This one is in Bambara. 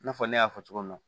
I n'a fɔ ne y'a fɔ cogo min na